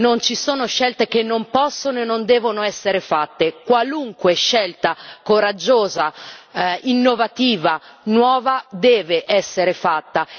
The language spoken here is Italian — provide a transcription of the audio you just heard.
Non ci sono scelte che non possono e non devono essere fatte qualunque scelta coraggiosa, innovativa, nuova deve essere fatta.